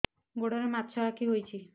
ଗୋଡ଼ରେ ମାଛଆଖି ହୋଇଛି